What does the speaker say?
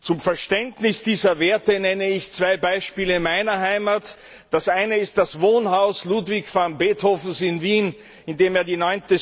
Zum Verständnis dieser Werte nenne ich zwei Beispiele meiner Heimat Das eine ist das Wohnhaus Ludwig van Beethovens in Wien, in dem er die